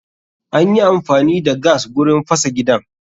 Anyi amfani da gas gurin fasa gidan